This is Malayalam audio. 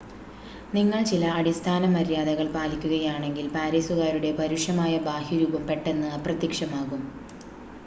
നിങ്ങൾ ചില അടിസ്ഥാന മര്യാദകൾ പാലിക്കുകയാണെങ്കിൽ പാരീസുകാരുടെ പരുഷമായ ബാഹ്യരൂപം പെട്ടെന്ന് അപ്രത്യക്ഷമാകും